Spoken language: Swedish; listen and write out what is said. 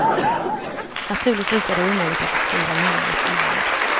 Naturligtvis är det omöjligt att beskriva numret i ord.